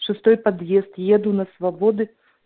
шестой подъезд еду на свободы